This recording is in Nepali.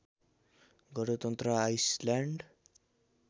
गणतन्त्र आइसल्याण्ड